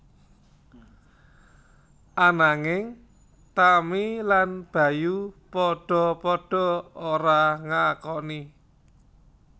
Ananging Tami lan Bayu padha padha ora ngakoni